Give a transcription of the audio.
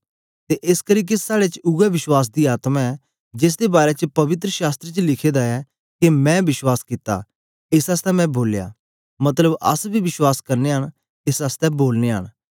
ते एसकरी के साड़े च उवै विश्वास दी आत्मा ऐ जेसदे बारै च पवित्र शास्त्र च लिखे दा ऐ के मैं विश्वास कित्ता एस आसतै मैं बोलया मतलब अस बी विश्वास करनयां न एस आसतै बोलनयां न